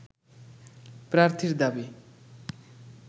প্রার্থীর দাবি